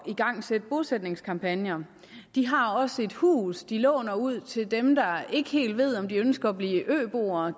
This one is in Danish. igangsætte bosætningskampagner de har også et hus de låner ud til dem der ikke helt ved om de ønsker at blive øboere